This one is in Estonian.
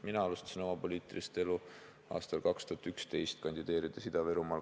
Mina alustasin oma poliitilist elu aastal 2011, kandideerides Ida-Virumaal.